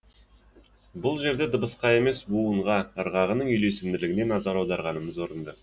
бұл жерде дыбысқа емес буын ырғағының үйлесімділігіне назар аударғанымыз орынды